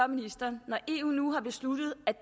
ministeren når eu nu har besluttet